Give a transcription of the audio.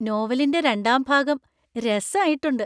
നോവലിന്‍റെ രണ്ടാം ഭാഗം രസായിട്ടുണ്ട്.